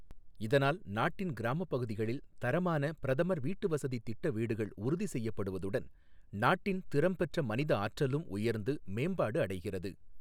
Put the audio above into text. இதனால் நாட்டின் கிராமப் பகுதிகளில் தரமான பிரதமர் வீட்டுவசதித் திட்ட வீடுகள் உறுதி செய்யப்படுவதுடன் நாட்டின் திறம் பெற்ற மனிதஆற்றலும் உயர்ந்து மேம்பாடு அடைகிறது.